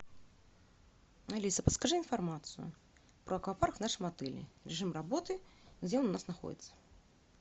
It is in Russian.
алиса подскажи информацию про аквапарк в нашем отеле режим работы где он у нас находится